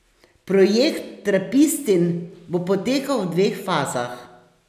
Projekt Trapistin bo potekal v dveh fazah.